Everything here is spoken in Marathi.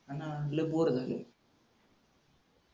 हाना लई बोर झालय